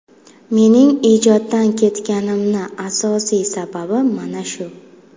Mening ijoddan ketganimni asosiy sababi mana shu.